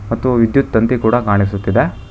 ಮತ್ತು ವಿದ್ಯುತ್ ತಂತಿ ಕೂಡ ಕಾಣಿಸುತ್ತಿದೆ.